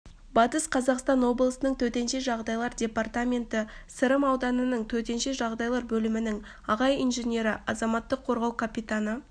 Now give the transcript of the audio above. батыс қазақстан облысының төтенше жағдайлар департаменті сырым ауданының төтенше жағдайлар бөлімінің аға инженері азаматтық қорғау капитаны